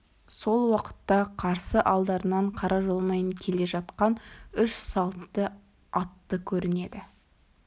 сол уақытта қарсы алдарынан қара жолмен келе жатқан үш салт атты көрінеді